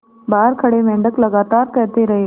बाहर खड़े मेंढक लगातार कहते रहे